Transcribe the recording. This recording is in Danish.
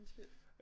Undskyld